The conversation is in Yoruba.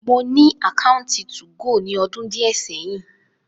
Mo ni ákáuntì tu-go ni ọdun diẹ sẹhin.